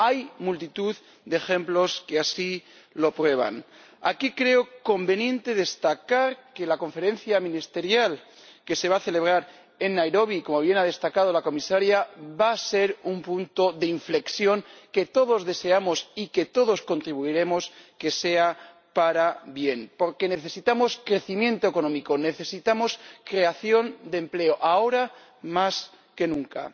Hay multitud de ejemplos que así lo prueban. Aquí creo conveniente destacar que la Conferencia Ministerial que se va a celebrar en Nairobi, como bien ha destacado la Comisaria, va a ser un punto de inflexión que todos deseamos y todos contribuiremos a que sea para bien, porque necesitamos crecimiento económico, necesitamos creación de empleo, ahora más que nunca.